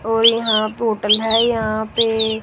और यहां पे होटल है यहां पे--